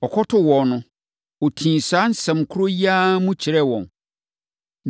Ɔkɔtoo wɔn no, ɔtii saa asɛm korɔ yi ara mu kyerɛɛ wɔn.